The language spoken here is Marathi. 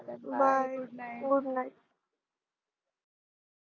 बाय